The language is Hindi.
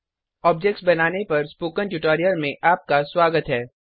ऑब्जेक्ट्स बनाने पर स्पोकन ट्यूटोरियल में आपका स्वागत है